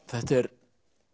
þetta er